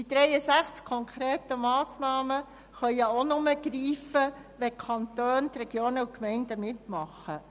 Die 63 Massnahmen können denn auch nur greifen, wenn die Kantone, Regionen und Gemeinden mitmachen.